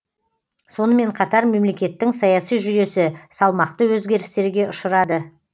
сонымен қатар мемлекеттің саяси жүйесі салмақты өзгерістерге ұшырады